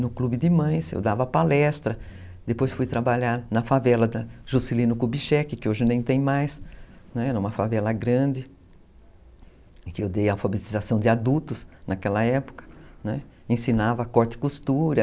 no clube de mães, eu dava palestras, depois fui trabalhar na favela da Juscelino Kubitschek, que hoje nem tem mais. Era uma favela grande, que eu dei alfabetização de adultos, naquela época ensinava corte e costura.